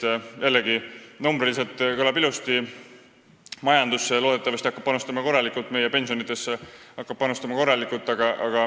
See kõlab jällegi numbriliselt ilusti ja annab loodetavasti korraliku panuse majandusse, samuti meie pensionidesse.